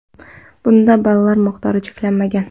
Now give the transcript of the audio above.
Bunda ballar miqdori cheklanmagan.